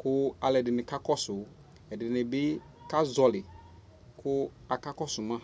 Ku aluɛ di ni bi ka kɔ suƐdini bi ka zɔli ku aka kɔ su ma